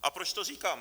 A proč to říkám?